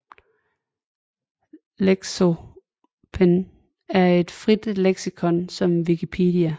Lexopen er et frit leksikon ligesom Wikipedia